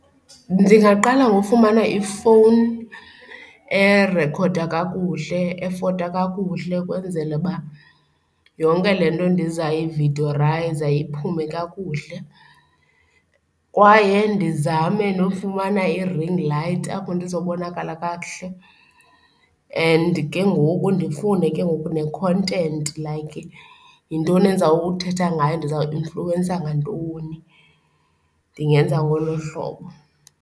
Ndingaqala ngokufumana ifowuni erekhoda kakuhle, efota kakuhle ukwenzele uba yonke le nto ndizayi viyodiyorayiza iphume kakuhle kwaye ndizame nofumana i-ringlight apho ndizobonakala kakuhle and ke ngoku ndifunde ke ngoku ne-content, like yintoni endizawuthetha ngayo, ndizawuinfluwensa ngantoni. Ndingenza ngolo hlobo.